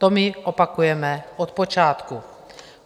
To my opakujeme od počátku.